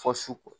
Fɔ su ko